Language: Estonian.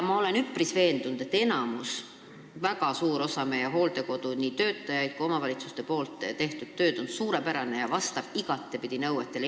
Ma olen üpris veendunud, et enamiku, väga suure osa meie hooldekodude töötajate ja omavalitsuste tehtud töö on suurepärane, see vastab igapidi nõuetele.